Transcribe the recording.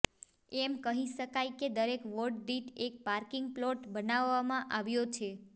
એમ કહી શકાય કે દરેક વોર્ડ દીઠ એક પાર્કીંગ પ્લોટ બનાવામા આવ્યા છે